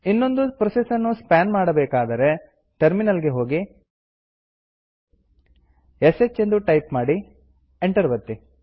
ಇನ್ನೊಂದು ಪ್ರೋಸೆಸ್ ನ್ನು ಸ್ಪಾನ್ ಮಾಡಬೇಕಾದರೆ ಟರ್ಮಿನಲ್ ಗೆ ಹೋಗಿ ಶ್ ಎಂದು ಟೈಪ್ ಮಾಡಿ ಎಂಟರ್ ಒತ್ತಿ